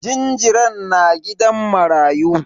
Jinjiran na gidan marayu.